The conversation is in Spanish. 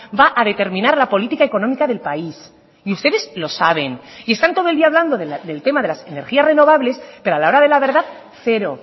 va a determinar la política económica del país y ustedes lo saben y están todo el día hablando del tema de las energías renovables pero a la hora de la verdad cero